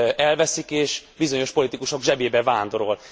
elveszik, és bizonyos politikusok zsebébe vándorol.